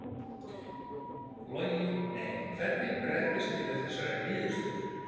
Logi: Nei, hvernig bregðist þið við þessari niðurstöðu?